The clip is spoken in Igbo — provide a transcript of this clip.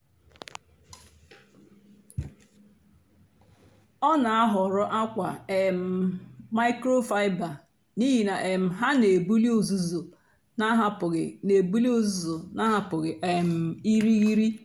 ọ na-àhọ̀rọ̀ àkwà um máịkrofáịbà n’ihí na um ha na-èbùlì ùzùzù na-àhapụ́ghị́ na-èbùlì ùzùzù na-àhapụ́ghị́ um ìrìghirì.